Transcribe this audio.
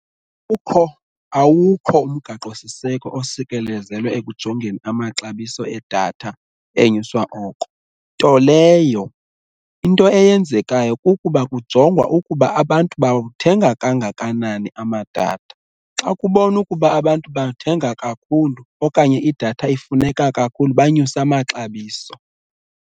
Kukho awukho umgaqo siseko osekelezelwe ekujongeni amaxabiso edatha enyuswa oko nto leyo into eyenzekayo kukuba kujongwa ukuba abantu bawuthenga kangakanani amadatha. Xa kubonwa ukuba abantu bathenga kakhulu okanye idatha ifuneka kakhulu banyuse amaxabiso.